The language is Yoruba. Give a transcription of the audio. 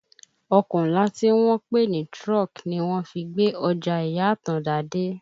Ọkọ̀ ńlá tí wọ́n ń pè ní truck ni wọ́n fi gbé Ọjà ìyá Àtàndá dé